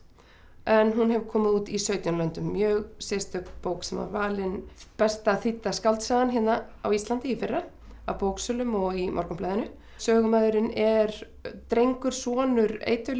en hún hefur komið út í sautján löndum mjög sérstök bók sem að valin besta þýdda skáldsagan hérna á Íslandi í fyrra af bóksölum og í Morgunblaðinu sögumaðurinn er drengur sonur